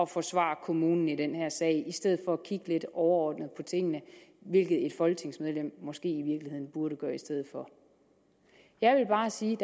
forsvare kommunen i den her sag i stedet for at kigge lidt overordnet på tingene hvilket et folketingsmedlem måske i virkeligheden burde gøre i stedet for jeg vil bare sige